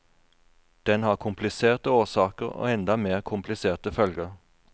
Den har kompliserte årsaker og enda mer kompliserte følger.